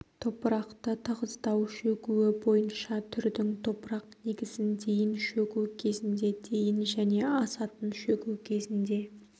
топырақты тығыздау шөгуі бойынша түрдің топырақ негізін дейін шөгу кезінде дейін және асатын шөгу кезінде